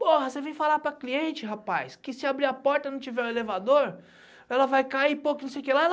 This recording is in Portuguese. Porra, você vem falar para cliente, rapaz, que se abrir a porta e não tiver o elevador, ela vai cair, pô, que não sei o que lá.